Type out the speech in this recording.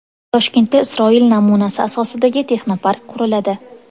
Toshkentda Isroil namunasi asosidagi texnopark quriladi.